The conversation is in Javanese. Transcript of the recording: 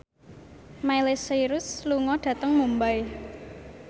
Miley Cyrus lunga dhateng Mumbai